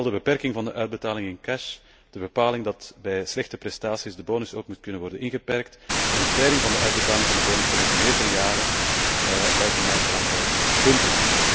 Vooral de beperking van de uitbetaling in cash, de bepaling dat bij slechte prestaties de bonus ook moet kunnen worden ingeperkt en de spreiding van de uitbetaling van de bonussen over meerdere jaren lijken mij belangrijke punten.